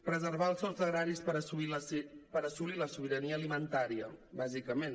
preservar els sòls agraris per assolir la sobirania alimentària bàsicament